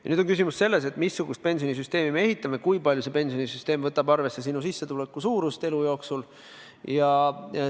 Nüüd on küsimus selles, missugust pensionisüsteemi me ehitame, kui palju see võtab arvesse sinu sissetuleku suurust elu jooksul.